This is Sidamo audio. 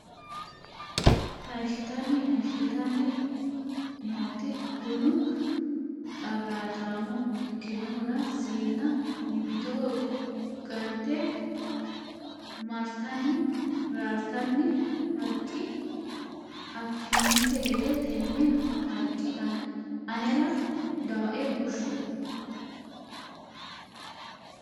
Hayishshitanni Hayishshitanni nooti bunu qarraataamo ikkinohura siinna mimmitoho ga nite marartanni raartanna Harqi Affininte gede tenne Harqi Anera dawoe bushshu !